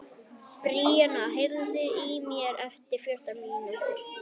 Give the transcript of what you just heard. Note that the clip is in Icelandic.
Bríanna, heyrðu í mér eftir fjórtán mínútur.